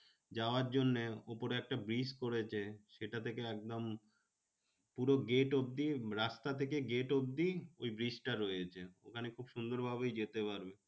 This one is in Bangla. যাওয়ার জন্যে উপরে একটা bridge করেছে। সেটা থেকে একদম পুরো gate অব্ধি রাস্তা থেকে gate অব্ধি ওই bridge টা রয়েছে। ওখানে খুব সুন্দর ভাবেই যেতে পারবি।